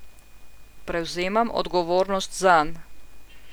Prevzemam odgovornost zanj.